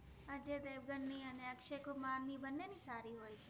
અજય઼ દેવગન નિ અને અક્શય઼ કુમાર નિ બન્ને નિ સારિ હોએ છે